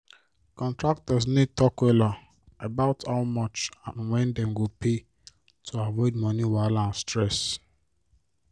contractors need talk wella about how much and when dem go pay to avoid moni wahala and stress.